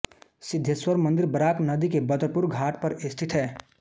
सिद्धेश्वर मन्दिर बराक नदी के बदरपुरघाट पर स्थित है